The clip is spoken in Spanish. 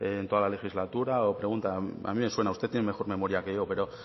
en toda la legislatura o pregunta a mí me suena usted tiene mejor memoria que yo pero